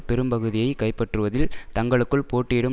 பெரும்பகுதியை கைப்பற்றுவதில் தங்களுக்குள் போட்டியிடும்